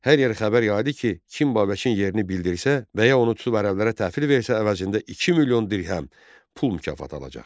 Hər yerə xəbər yaydı ki, kim Babəkin yerini bildirsə və ya onu tutub ərəblərə təhvil versə əvəzində 2 milyon dirhəm pul mükafatı alacaq.